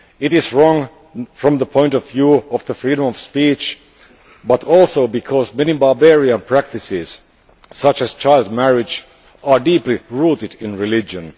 It is wrong from the point of view of freedom of speech, but also because many barbarian practices such as child marriage are deeply rooted in religion.